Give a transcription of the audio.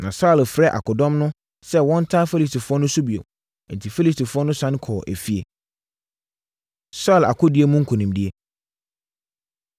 Na Saulo frɛɛ akodɔm no sɛ wɔnntaa Filistifoɔ no so bio. Enti, Filistifoɔ no sane kɔɔ efie. Saulo Akodie Mu Nkonimdie